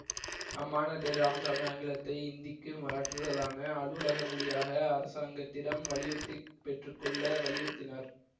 அம்மாநாட்டில் இராமசாமி ஆங்கிலத்தை இந்திக்கு மாற்றுதலான அலுவலக மொழியாக அரசாங்கத்திடம் வலியுறுத்தி பெற்று கொள்ள வலியுறுத்தினார்